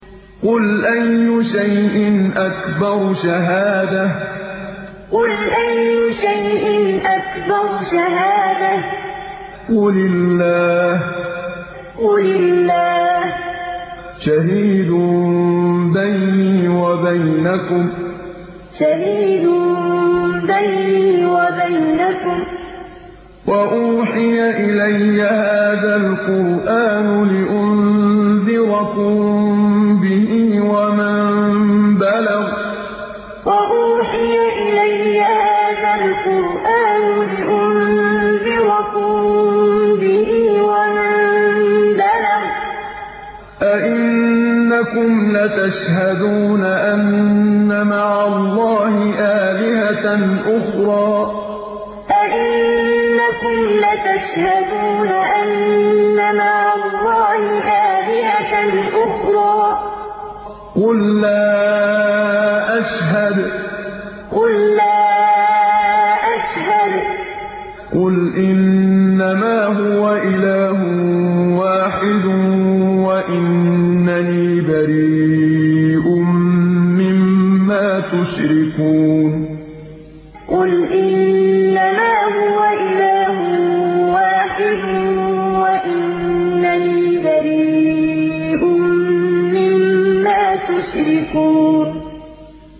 قُلْ أَيُّ شَيْءٍ أَكْبَرُ شَهَادَةً ۖ قُلِ اللَّهُ ۖ شَهِيدٌ بَيْنِي وَبَيْنَكُمْ ۚ وَأُوحِيَ إِلَيَّ هَٰذَا الْقُرْآنُ لِأُنذِرَكُم بِهِ وَمَن بَلَغَ ۚ أَئِنَّكُمْ لَتَشْهَدُونَ أَنَّ مَعَ اللَّهِ آلِهَةً أُخْرَىٰ ۚ قُل لَّا أَشْهَدُ ۚ قُلْ إِنَّمَا هُوَ إِلَٰهٌ وَاحِدٌ وَإِنَّنِي بَرِيءٌ مِّمَّا تُشْرِكُونَ قُلْ أَيُّ شَيْءٍ أَكْبَرُ شَهَادَةً ۖ قُلِ اللَّهُ ۖ شَهِيدٌ بَيْنِي وَبَيْنَكُمْ ۚ وَأُوحِيَ إِلَيَّ هَٰذَا الْقُرْآنُ لِأُنذِرَكُم بِهِ وَمَن بَلَغَ ۚ أَئِنَّكُمْ لَتَشْهَدُونَ أَنَّ مَعَ اللَّهِ آلِهَةً أُخْرَىٰ ۚ قُل لَّا أَشْهَدُ ۚ قُلْ إِنَّمَا هُوَ إِلَٰهٌ وَاحِدٌ وَإِنَّنِي بَرِيءٌ مِّمَّا تُشْرِكُونَ